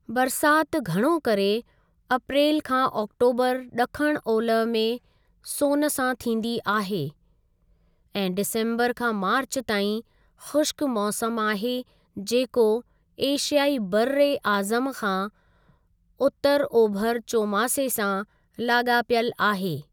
बरसाति घणो करे अप्रेलु खां आक्टोबरु ॾखणु ओलह में सोन सां थींदी आहे ऐं डिसम्बरु खां मार्चु ताईं ख़ुश्क मौसमु आहे जेको एशियाई बर्र ए आज़म खां उतरु ओभर चोमासे सां लाॻापियलु आहे।